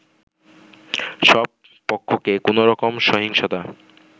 সব পক্ষকে কোনোরকম সহিংসতা